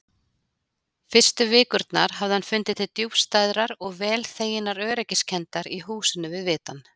Fyrstu vikurnar hafði hann fundið til djúpstæðrar og vel þeginnar öryggiskenndar í húsinu við vitann.